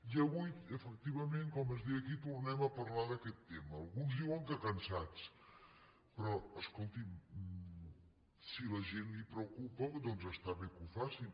i avui efectivament com es deia aquí tornem a parlar d’aquest tema alguns diuen que cansats però escolti’m si a la gent els preocupa doncs està bé que ho facin